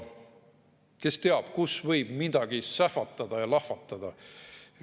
Kes teab, kus võib midagi sähvatada ja lahvatada.